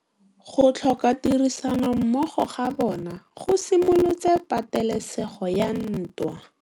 Go tlhoka tirsanommogo ga bone go simolotse patêlêsêgô ya ntwa.